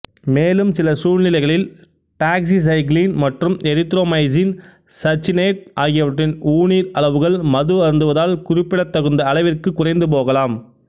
மேலும் சில சூழ்நிலைகளில் டாக்ஸிசைக்ளின் மற்றும் எரித்ரோமைசின் சச்சினேட் ஆகியவற்றின் ஊனீர் அளவுகள் மது அருந்துவதால் குறி்ப்பிடத்தகுந்த அளவிற்குக் குறைந்துபோகலாம்